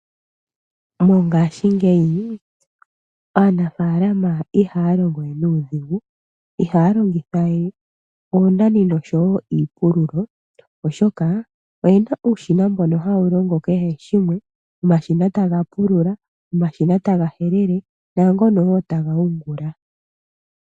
Mongashingeyi aanafaalama ihaya longo we nuudhigu, ihaya longitha we oonani niipululo oshoka oyena uushina mbono hawu longo kehe shimwe, omashina ta ga pulula, omashina ta ga helele naangono wo ta ga yungula.